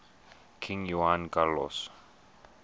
king juan carlos